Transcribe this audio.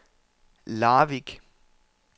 Larvik